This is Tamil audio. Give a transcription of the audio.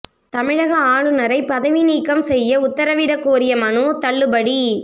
தமிழக ஆளுநரை பதவி நீக்கம் செய்ய உத்தரவிடக் கோரிய மனு தள்ளுபடி